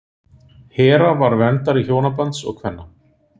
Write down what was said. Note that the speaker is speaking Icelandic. hera var verndari hjónabands og kvenna